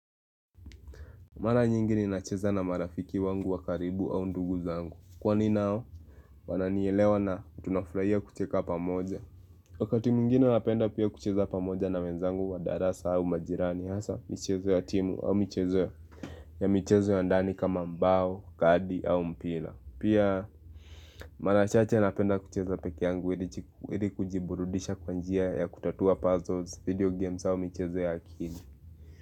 Mara nyingi ninacheza na marafiki wangu wakaribu au ndugu zangu Kwani nao wananielewa na utunafraya kucheka pamoja Wakati mwigine napenda pia kucheza pamoja na wenzangu wa darasa au majirani hasa mchezo ya timu au mchezo ya mchezo ya ndani kama mbao, kadi au mpila Pia mara chache napenda kucheza peke yangu ili kujiburudisha kwa njia ya kutatua puzzles, video games au mchezo ya kini.